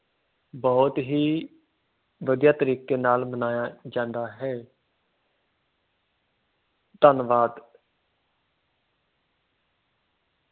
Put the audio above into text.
ਬਹੁਤ ਹੀ ਵਧੀਆ ਤਰੀਕੇ ਨਾਲ ਮਨਾਇਆ ਜਾਂਦਾ ਹੈ ਧੰਨਵਾਦ।